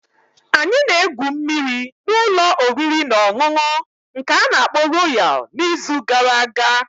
Anyị na-egwu mmiri na ụlọ oriri na ọṅụṅụ nke ana-akpo Royal n'izu gara aga.